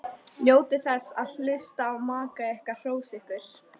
Njótið þess að hlusta á maka ykkar hrósa ykkur.